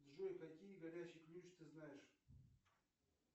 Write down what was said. джой какие горячий ключ ты знаешь